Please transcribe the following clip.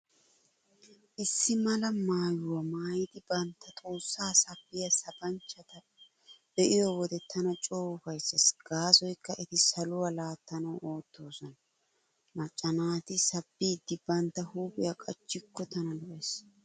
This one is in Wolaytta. Issi mala maayuwaa maayidi bantta xoossaa sabbiyaa sabanchchata be'iyo wode tana coo ufayssees gaasoykka eti saluwaa laattanawu oottoosona. Macca naati sabbiiddi bantta huuphiyaa qacikko tana lo'ees.